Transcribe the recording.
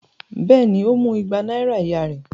Bẹ́ẹ̀ ni, ó mú igba náírà ìyá rẹ̀.